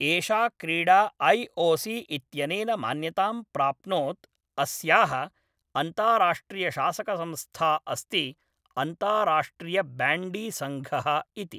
एषा क्रीडा I O C इत्यनेन मान्यतां प्राप्नोत् अस्याः अन्ताराष्ट्रियशासकसंस्था अस्ति अन्ताराष्ट्रियब्याण्डीसङ्घः इति।